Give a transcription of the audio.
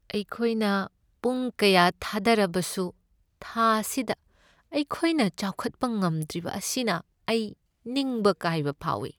ꯑꯩꯈꯣꯏꯅ ꯄꯨꯡ ꯀꯌꯥ ꯊꯥꯗꯔꯕꯁꯨ ꯊꯥ ꯑꯁꯤꯗ ꯑꯩꯈꯣꯏꯅ ꯆꯥꯎꯈꯠꯄ ꯉꯝꯗ꯭ꯔꯤꯕ ꯑꯁꯤꯅ ꯑꯩ ꯅꯤꯡꯕ ꯀꯥꯏꯕ ꯐꯥꯎꯏ ꯫